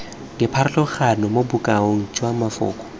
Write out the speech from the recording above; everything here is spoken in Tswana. dipharologano mo bokaong jwa mafoko